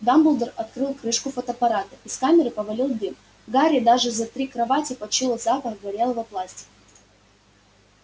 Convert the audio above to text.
дамблдор открыл крышку фотоаппарата из камеры повалил дым гарри даже за три кровати почуял запах горелого пластика